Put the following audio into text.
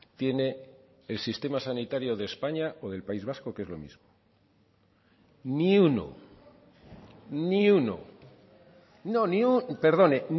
tiene el sistema sanitario de españa o del país vasco que es lo mismo ni uno ni uno no perdone